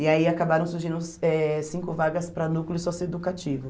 E aí acabaram surgindo cinco vagas para núcleo socioeducativo.